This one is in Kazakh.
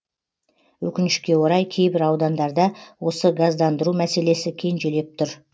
өкінішке орай кейбір аудандарда осы газдандыру мәселесі кенжелеп тұр